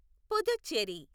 Puducherry